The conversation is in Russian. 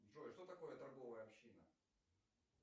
джой что такое торговая община